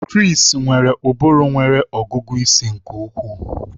Chris nwere ụbụrụ nwere ọgụgụ isi nke ukwuu